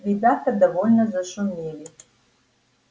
ребята довольно зашумели